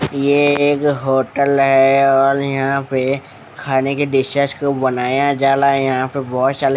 ये एक होटल है और यहाँ पे खाने की डिश कुछ बनाया जा रहा है यहाँ पे बहुत सारे --